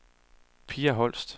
Pia Holst